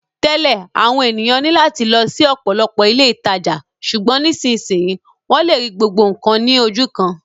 Tẹ́lẹ̀, àwọn ènìyàn ní láti lọ sí ọ̀pọ̀lọpọ̀ ilé ìtajà, ṣùgbọ́n nísinsìnyí, wọ́n lè rí gbogbo nǹkan ní ojú kan